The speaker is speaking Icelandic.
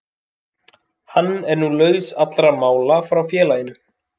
Hann er nú laus allra mála frá félaginu.